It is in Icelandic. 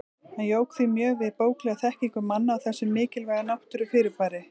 Hann jók því mjög við bóklega þekkingu manna á þessu mikilvæga náttúrufyrirbæri.